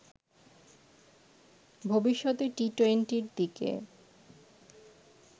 ভবিষ্যতে টি-টোয়েন্টির দিকে